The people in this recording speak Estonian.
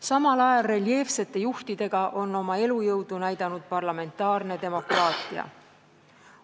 Samal ajal reljeefsete juhtidega on oma elujõudu näidanud parlamentaarne demokraatia.